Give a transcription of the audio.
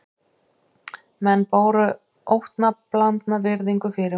Menn báru óttablandna virðingu fyrir honum